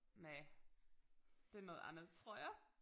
Næ det noget andet tror jeg